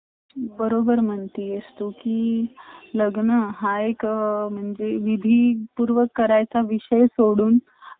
ते होता आणि main म्हणजे कॉस एवढी एवढी म्हणजे मुंबई एवढी त्यांच्याकडेपण population आहे shanghai मधे पण तरी तुम्हाला कुठं अस वाटणार नयी कि traffic ए खूप जास्ती म्हणजे त्यांचं overallcityplanningmaintenance एवढा छान आहे